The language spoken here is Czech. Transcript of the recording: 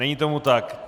Není tomu tak.